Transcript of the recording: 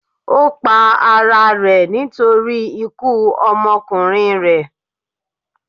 Ó pa ara rẹ̀ nítorí ikú ọmọkùnrin rẹ̀.